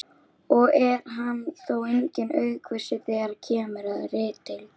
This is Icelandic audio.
og er hann þó enginn aukvisi þegar kemur að ritdeilum.